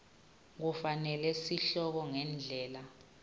kufanele sihloko ngendlela